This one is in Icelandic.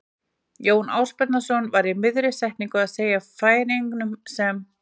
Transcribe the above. Jón Ásbjarnarson var í miðri setningu að segja frá Færeyingunum sem